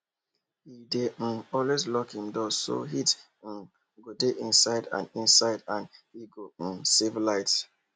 he dey um always lock him door so heat um go dey inside and inside and he go um save light